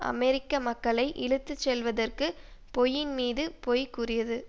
அமெரிக்க மக்களை இழுத்துச்செல்வதற்கு பொய்யின் மீது பொய் கூறியது